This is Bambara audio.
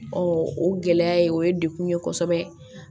o gɛlɛya ye o ye degun ye kosɛbɛ